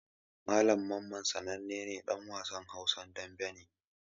Malam Mamman sanannen ɗan wasan Hausan daɓe ne.